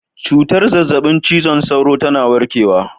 Cutar zazzabin cizon sauro tana warkewa